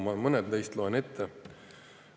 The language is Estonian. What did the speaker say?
Ma loen mõned neist ette.